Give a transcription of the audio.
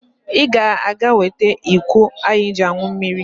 Ị ga-aga wete iko anyị ji aṅụ mmiri.